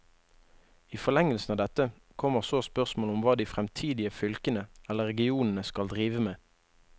I forlengelsen av dette kommer så spørsmålet om hva de fremtidige fylkene eller regionene skal drive med.